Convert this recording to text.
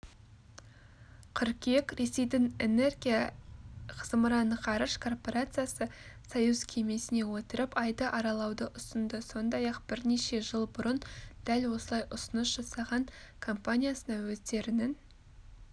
қыркүйек ресейдің энергия зымыран-ғарыш корпорациясы союз кемесіне отырып айды аралауды ұсынды сондай-ақ бірнеше жыл бұрын дәл осылай ұсыныс жасаған компаниясына өздерінің